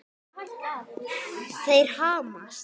Þeir hamast.